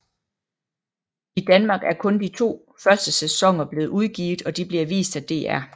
I Danmark er kun de to første sæsoner blevet udgivet og de bliver vist af DR